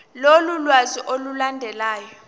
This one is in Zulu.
lolu lwazi olulandelayo